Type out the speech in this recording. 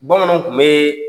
Bamananw kun bɛ